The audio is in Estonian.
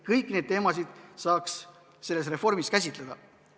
Kõiki neid teemasid saaks selle reformi raames käsitleda.